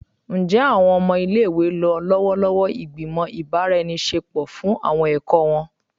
Njẹ awọn ọmọ ile-iwe lo lọwọlọwọ igbimọ ibaraenisepo fun awọn ẹkọ wọn?